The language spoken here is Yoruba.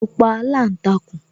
Mo pa aláǹtakùn